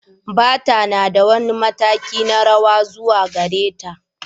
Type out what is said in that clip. Bata na da wani mataki na rawa zuwa gare ta.